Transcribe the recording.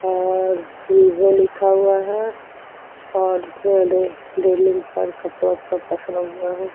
और विवो लिखा हुआ है और रेलिंग रेलिंग पर कपड़ो का पसरा हुआ है।